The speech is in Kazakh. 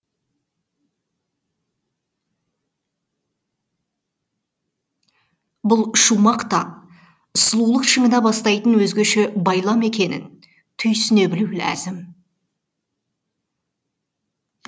бұл шумақ та сұлулық шыңына бастайтын өзгеше байлам екенін түйсіне білу ләзім